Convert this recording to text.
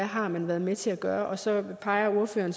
har været med til at gøre og så peger ordføreren